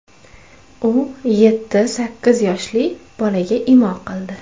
U yetti–sakkiz yoshli bolaga imo qildi.